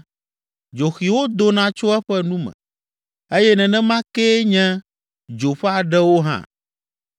Dzoxiwo dona tso eƒe nu me, eye nenema kee nye dzo ƒe aɖewo hã.